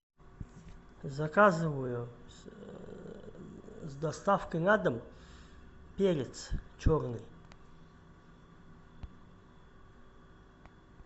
заказываю с доставкой на дом перец черный